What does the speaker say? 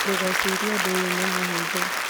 Ndũgecirie ũndũ ũyũ nĩ mũhũthũ